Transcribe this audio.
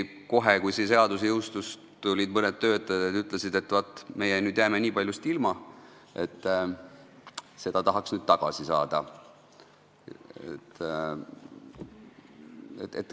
Kohe, kui see seadus jõustus, tulid mõned töötajad ja ütlesid, et nad jäävad nüüd nii paljust ilma ja tahaks seda tagasi saada.